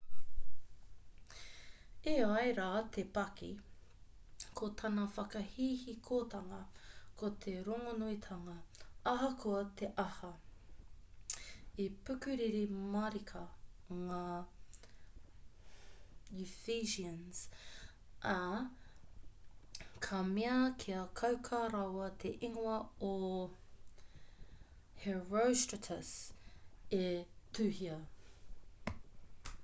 e ai rā te paki ko tana whakahihikotanga ko te rongonuitanga ahakoa te aha i pukuriri mārika ngā ephesians ā ka mea kia kauka rawa te ingoa o herostratus' e tuhia